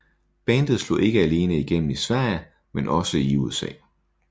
Bandet slog ikke alene igennem i Sverige men også i USA